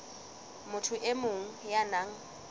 motho e mong ya nang